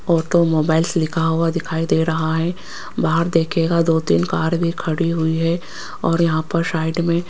automobiles लिखा हुआ दिखाई दे रहा है बाहर देखिएगा दो तीन कार भी खड़ी हुई है और यहां पर साइड में --